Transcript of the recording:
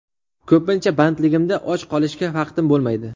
Ko‘pincha bandligimda och qolishga vaqtim bo‘lmaydi”.